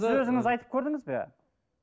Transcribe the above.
сіз өзіңіз айтып көрдіңіз бе